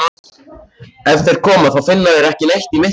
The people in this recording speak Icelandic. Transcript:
Ef þeir koma þá finna þeir ekki neitt í myrkrinu.